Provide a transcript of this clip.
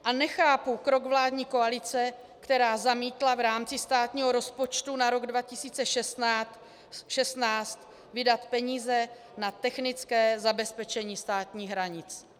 A nechápu krok vládní koalice, která zamítla v rámci státního rozpočtu na rok 2016 vydat peníze na technické zabezpečení státních hranic.